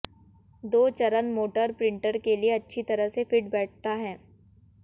दो चरण motor printer के लिए अच्छी तरह से फिट बैठता है